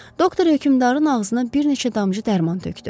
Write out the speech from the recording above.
Doktor hökümdarın ağzına bir neçə damcı dərman tökdü.